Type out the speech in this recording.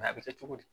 a bɛ kɛ cogo di